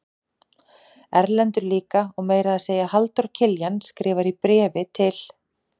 Erlendur líka og meira að segja Halldór Kiljan skrifar í bréfi til